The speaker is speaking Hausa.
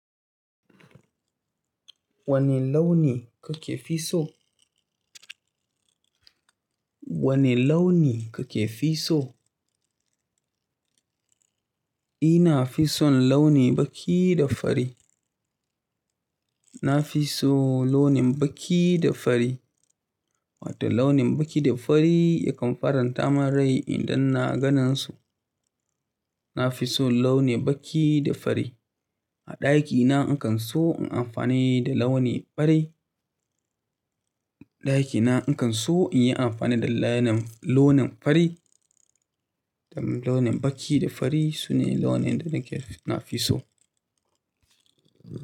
Wani launi ka ke fi so? Wane launi kake fi so? Ina fi son launi baƙi da fari. Na fi so launin baƙi da fari. Wato launin baƙi da fari yakan faranta mun rai idan na ganin su. Na fi so launi baƙi da fari. A ɗakina in kan so in yi amfani da launi fari. A ɗakina in kan so in yi amfani da launin, launin fari. Launin baƙi da fari sune launin da nake, na fi so.